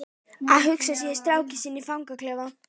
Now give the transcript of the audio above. Að hugsa sér strákinn sinn í fangaklefa?